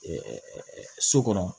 so kɔnɔ